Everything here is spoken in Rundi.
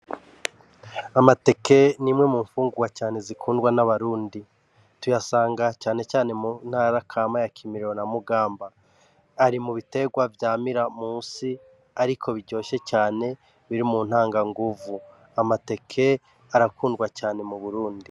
Amateke ni imwe mu mfungurwa cane zikundwa n'abarundi, tuyasanga cane cane mu ntara kama ya kirimiro na mugamba. Ari mu biterwa vyamira musi ariko biryoshe cane biri mu ntanganguvu. Amateke arakundwa cane mu Burundi.